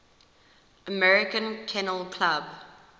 american kennel club